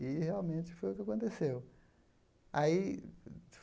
E, realmente, foi o que aconteceu. Aí